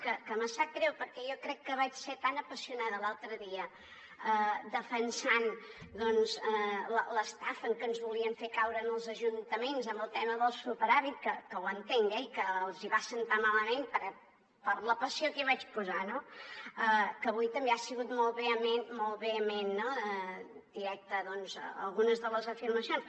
que em sap greu perquè jo crec que vaig ser tan apassionada l’altre dia defensant doncs l’estafa en què ens volien fer caure als ajuntaments amb el tema del superàvit que ho entenc eh i que no els va agradar per la passió que hi vaig posar no que avui també ha sigut molt vehement directe a algunes de les afirmacions